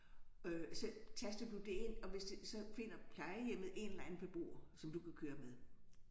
Øh så taster du det ind og hvis det så finder plejehjemmet en eller anden beboer som du kan køre med